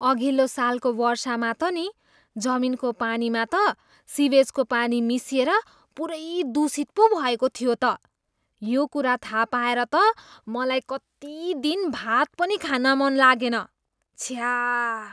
अघिल्लो सालको वर्षामा त नि, जमिनको पानीमा त सिवेजको पानी मिसिएर पुरै दूषित पो भएको थियो त। यो कुरा थाहा पाएर त मलाई कति दिन भात पनि खान मन लागेन। छ्या!